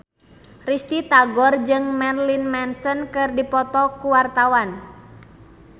Risty Tagor jeung Marilyn Manson keur dipoto ku wartawan